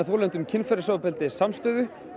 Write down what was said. þolendum kynferðisofbeldis samstöðu